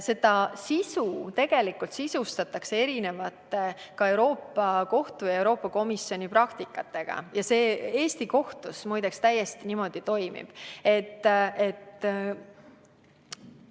Seda sisustatakse erineva, ka Euroopa Kohtu ja Euroopa Komisjoni praktikaga ning Eesti kohtutes, muide, täiesti toimib.